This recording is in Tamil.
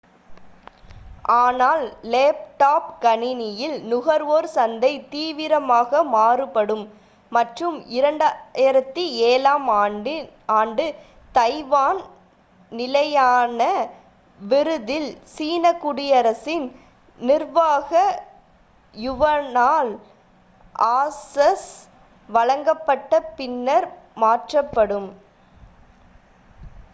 ஆனால் லேப்டாப் கணினியில் நுகர்வோர் சந்தை தீவிரமாக மாறுபடும் மற்றும் 2007-ஆம் ஆண்டு தைவான் நிலையான விருதில் சீன குடியரசின் நிர்வாக யுவானால் ஆசஸ் வழங்கப்பட்ட பின்னர் மாற்றப்படும்